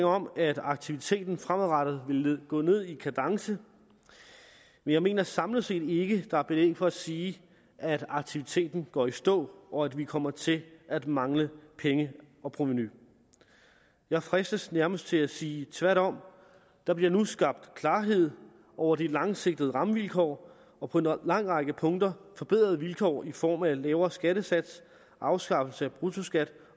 om at aktiviteten fremadrettet vil gå ned i kadence men jeg mener samlet set ikke at der er belæg for at sige at aktiviteten går i stå og at vi kommer til at mangle penge og provenu jeg fristes nærmest til at sige tværtom der bliver nu skabt klarhed over de langsigtede rammevilkår og på en lang række punkter forbedrede vilkår i form af lavere skattesats afskaffelse af bruttoskat